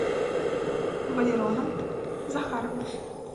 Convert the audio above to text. валероном захаровым